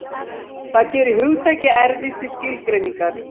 Það gerir hugtakið erfitt til skilgreiningar.